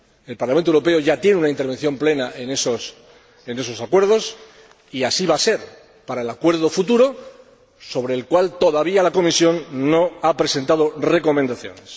El Parlamento Europeo ya tiene una intervención plena en esos acuerdos y así va a ser para el acuerdo futuro, sobre el cual todavía la Comisión no ha presentado recomendaciones.